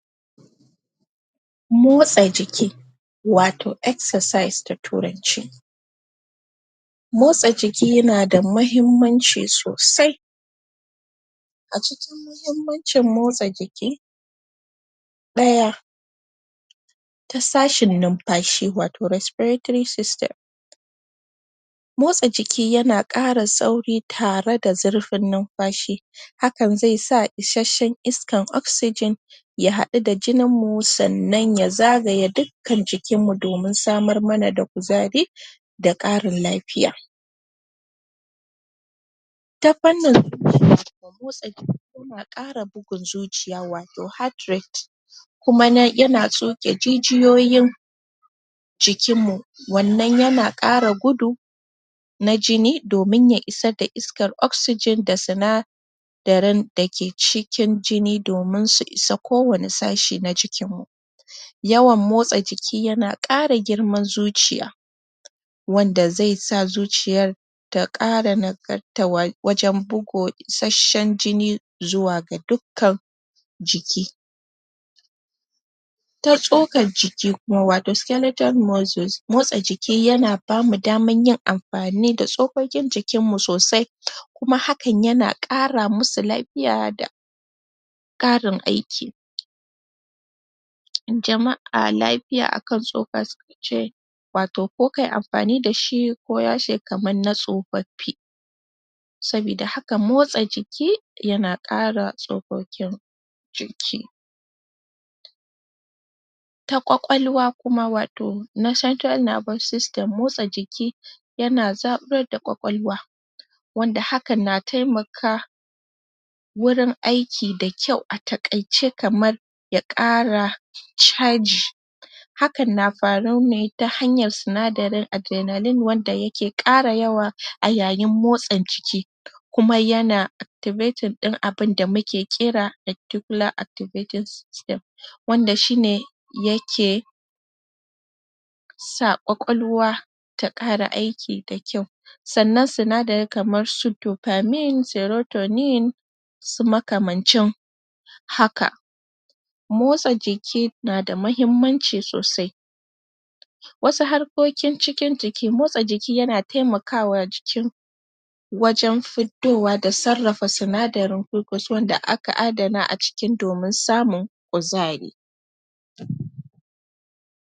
Motsa jiki wato exercise da turanci motsa jiki yana da mahimmanci sosai a cikin mahimmancin motsa jiki: Ɗaya ta sashin numfashi waro respiratory system, motsa jiki yana ƙara sauri tare da zirfin munfashi hakan ze sa isashshen iskan oxegen ya haɗu da jininmu sannan ya zagaye duk kan jikinmmu domin samar mana da kuzari da ƙarin lafiya, ta fannni zuciya motsa yana ƙara bugun zuciya wato heartrate kuma na yana tsoke jijiyoyin jikinmmu wannan yana ƙara gudu na jini domin ya isa da isakar oxegyen da sina darin da ke cikin jini domin su isa kowane sashe na jinmmu, yawan motsa jikin yana ƙara girman zuciya, wanda zai sa zuciyar ta ƙara nagarta wajen bugo isashshen jini zuwa ga dukkkan jiki, ta tsokar jiki wato skeletal muscles motsa jiki yana damu dama yin amfani da tsokokin jikinmmu sosai, kuma hakan yana ƙara masu lafiya da ƙarin aiki, jama'a lafiya akan tsoka wato ko kai amfani da shi ko yashe kaman na tsofaffi, saboda haka motsa jiki yana ƙara tsokokin jiki, ta ƙwaƙwalwa kuma wato norcentral nervous system mottsa jiki yana zaɓurar da ƙwaƙwalwa wanda haka na taimaka wurin aiki da kyau a taƙaice kamar ya ƙara caji, hakan ta fara ne ta hanyar sinadarin adrenaline wanda yake ƙara yawa ayayin motsa jiki, kuma yana activating ɗin abinda muke kira articular activities cell wanda shine yake sa ƙwaƙwalwa ta ƙara aiki da kyau, sannan sinadari kamar su determine, serotonin su makamancin haka, motsa jiki nada mahimmanci sosai, wasu harkokin cikin jiki motsa jiki yana taimakawa jikin wajen fiddowa da sarrafa sinadarin ko kuce wanda aka adana a cikin domin samun kuzari.